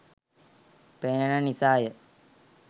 පෙනෙන නිසාය.